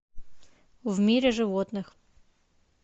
в мире животных